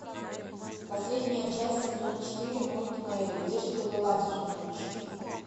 последняя часть сезон четыре мульт мэри где же ты была всю ночь